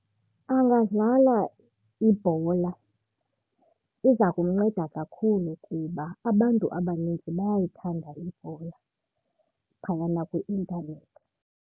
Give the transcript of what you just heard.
Angadlala ibhola, iza kumnceda kakhulu kuba abantu abaninzi bayayithanda ibhola phayana kwi-intanethi.